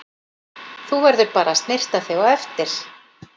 Þú verður bara að snyrta þig á eftir.